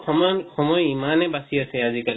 সমান সময় বিমানে বাচি অছে আজি-কালি